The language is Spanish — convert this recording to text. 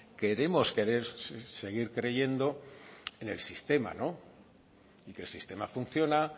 queremos querer seguir creyendo en el sistema no y que el sistema funciona